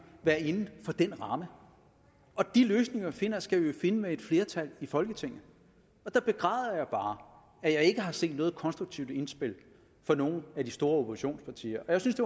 være inden for den ramme og de løsninger vi finder skal vi finde med et flertal i folketinget og der begræder jeg bare at jeg ikke har set noget konstruktivt indspil fra nogen af de store oppositionspartier og jeg synes